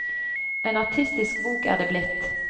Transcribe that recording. En artistisk bok er det blitt.